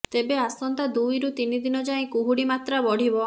ତେବେ ଆସନ୍ତା ଦୁଇରୁ ତିନି ଦିନ ଯାଏ କୁହୁଡ଼ି ମାତ୍ରା ବଢ଼ିବ